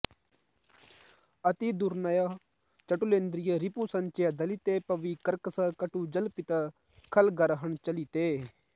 अतिदुर्नय चटुलेन्द्रिय रिपु सञ्चय दलिते पवि कर्कश कटु जल्पित खलगर्हण चलिते